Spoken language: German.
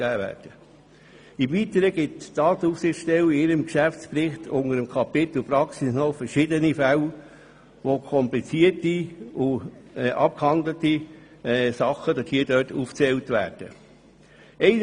Im Weitern geht die Datenschutzaufsichtsstelle in ihrem Geschäftsbericht unter dem Kapitel Praxis noch auf verschiedene kompliziertere abgehandelte Fälle ein.